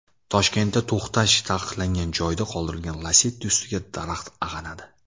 Toshkentda to‘xtash taqiqlangan joyda qoldirilgan Lacetti ustiga daraxt ag‘anadi .